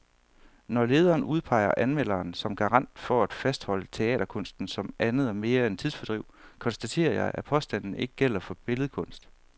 Når lederen udpeger anmelderen som garant for at fastholde teaterkunsten som andet og mere end tidsfordriv, konstaterer jeg, at påstanden ikke gælder for billedkunst.